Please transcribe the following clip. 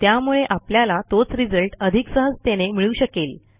त्यामुळे आपल्याला तोच रिझल्ट अधिक सहजतेने मिळू शकेल